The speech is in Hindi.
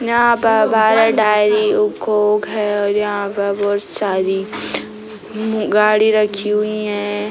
यहाँ पर है यहाँ पर बहुत सारी उम गाड़ी रखी हुई हैं |